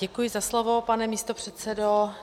Děkuji za slovo, pane místopředsedo.